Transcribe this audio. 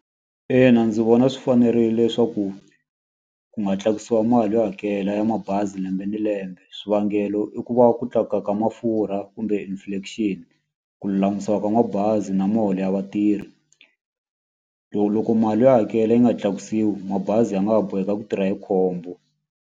Ina ndzi vona swi fanerile leswaku ku nga tlakusiwa mali yo hakela ya mabazi lembe ni lembe. Swivangelo i ku va ku tlakuka ka mafurha kumbe inflation, ku lulamisiwa ka mabazi na miholo ya vatirhi. Loko loko mali yo hakela yi nga tlakusiwi mabazi ya nga ha boheka ku tirha hi khombo.